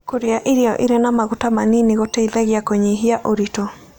Kũrĩa irio ĩrĩ ma magũta manĩnĩ gũteĩthagĩa kũnyĩhĩa ũrĩtũ